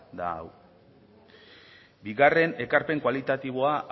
da hau bigarren ekarpen kualitatiboa